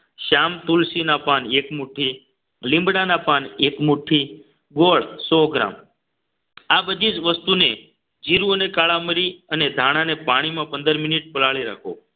શ્યામ તુલસી ના પાન એક મુઠ્ઠી લીમડાના પાન એક મુઠ્ઠી ગોળ સો ગ્રામ આ બધી જ વસ્તુને જીરુ અને કાળા મરી અને ધાણા ને પાણીમાં પંદર મિનિટ પલાળી રાખો